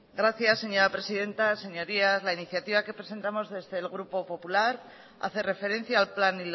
gracias señora presidenta señorías la iniciativa que presentamos desde el grupo popular hace referencia al plan